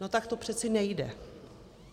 No tak to přeci nejde.